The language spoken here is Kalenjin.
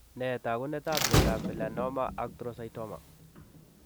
Nee taakunetab myondap Melanoma actrocytoma?